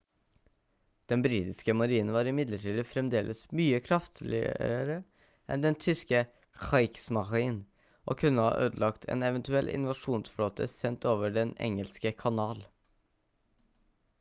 den britiske marinen var imidlertid fremdeles mye kraftigere enn den tyske «kriegsmarine» og kunne ha ødelagt en eventuell invasjonsflåte sendt over den engelske kanal